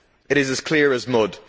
It is as clear as mud.